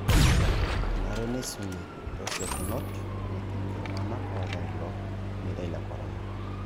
Enare neisumi tesiokinoto netumi iltung'anak oota ilo meitai le Corona